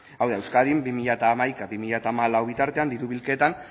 hau da euskadin bi mila hamaika bi mila hamalau bitartean diru bilketan